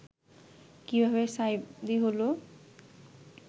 কিভাবে সাঈদী হলো